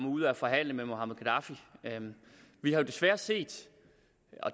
ud af at forhandle med muammar gaddafi vi har jo desværre set